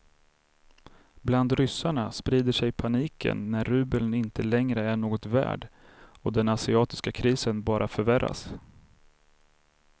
Bland ryssarna sprider sig paniken när rubeln inte längre är något värd och den asiatiska krisen bara förvärras.